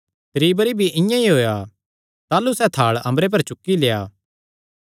त्री बरी भिरी इआं ई होएया ताह़लू सैह़ थाल़ अम्बरे पर चुक्की लेआ